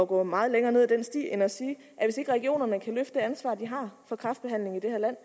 gå meget længere ned ad den sti end at sige at hvis ikke regionerne kan løfte det ansvar de har for kræftbehandlingen i det her land